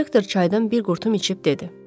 Direktor çaydan bir qurtum içib dedi.